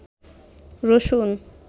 রসুন